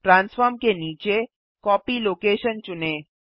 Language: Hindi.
ट्रान्सफॉर्म के नीचे कॉपी लोकेशन चुनें